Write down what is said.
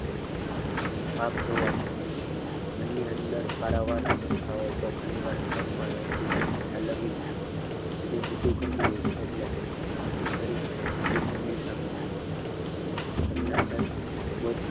પાપ જોવાશે મનની અંદર પારાવાર આવતો ઘણી વાર થાય પણ એ પીડા ઠલવવી ક્યાં હજી બધું કહી દઈશ એટલે હું જે વધુ કરીશ એને સીધું સુમિલ સાથે લડ્યું તમને કહેતા બોલ